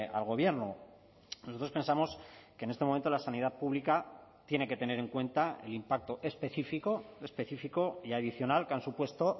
al gobierno nosotros pensamos que en este momento la sanidad pública tiene que tener en cuenta el impacto específico específico y adicional que han supuesto